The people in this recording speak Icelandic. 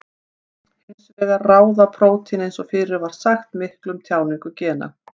Hins vegar ráða prótín eins og fyrr var sagt miklu um tjáningu gena.